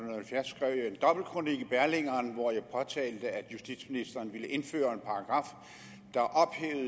halvfjerds skrev jeg en dobbeltkronik i berlingeren hvor jeg påtalte at justitsministeren ville indføre